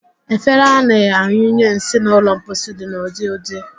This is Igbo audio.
Efere a na-anyụnye nsị n'ụlọ mposi dị n'ụdị n'ụdị